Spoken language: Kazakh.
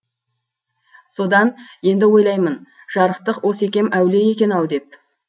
содан енді ойлаймын жарықтық осекем әулие екен ау деп